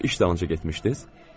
İş dalınca getmişdiz?